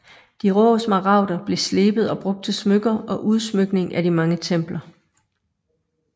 De rå smaragder blev slebet og brugt til smykker og udsmykning af de mange templer